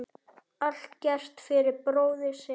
Allt gert fyrir bróðir sinn.